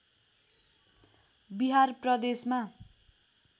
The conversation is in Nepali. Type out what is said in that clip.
बिहार प्रदेशमा